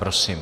Prosím.